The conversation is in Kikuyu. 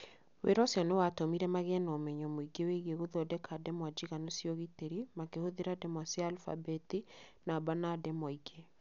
Wĩra ũcio nĩ watũmire magĩe na ũmenyo mũingĩ wĩgiĩ gũthondeka ndemwa njiganu cia ũgitĩri makĩhũthĩra ndemwa cia alfabeti, namba, na ndemwa ingĩ.